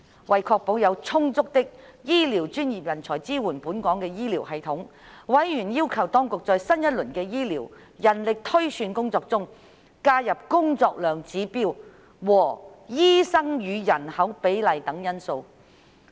為確保有充足的醫護專業人才支援本港的醫療系統，委員要求當局在新一輪的醫療人力推算工作中，加入工作量指標和醫生與人口比例等因素。